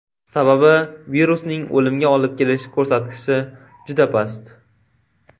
Sababi virusning o‘limga olib kelish ko‘rsatkichi juda past.